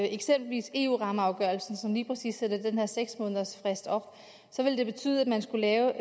eksempelvis eu rammeafgørelsen som lige præcis sætter den her seks månedersfrist op så ville det betyde at man skulle lave